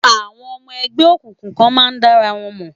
Àwọn ọmọ ẹgbẹ́ òkùnkùn kan máa ń dára wọn mọ̀.